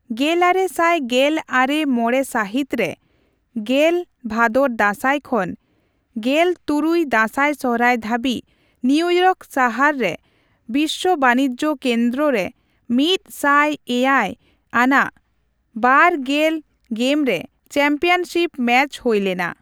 ᱜᱮᱞᱟᱨᱮ ᱥᱟᱭ ᱜᱮᱞ ᱟᱨᱮ ᱢᱚᱲᱮ ᱥᱟᱹᱦᱤᱛ ᱨᱮ ᱑᱐ ᱵᱷᱟᱫᱚᱨᱼᱫᱟᱥᱟᱭ ᱠᱷᱚᱱ ᱑᱖ ᱫᱟᱥᱟᱭᱼᱥᱚᱦᱨᱟᱭ ᱫᱷᱟᱹᱵᱤᱡ ᱱᱤᱭᱤᱭᱚᱨ ᱥᱟᱦᱟᱨ ᱨᱮ ᱵᱤᱥᱥᱚ ᱵᱟᱱᱤᱡᱡᱚ ᱠᱮᱱᱫᱚᱨᱚ ᱑᱐᱗ ᱟᱱᱟᱜ ᱒᱐ ᱜᱮᱢᱨᱮ ᱪᱟᱢᱯᱤᱭᱚᱱᱥᱤᱯ ᱢᱮᱪ ᱦᱳᱭᱞᱮᱱᱟ ᱾